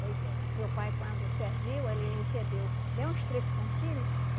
Pois é. Meu pai, quando serviu, ele recebeu bem uns três cantilhos.